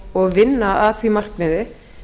og vinna að því markmiði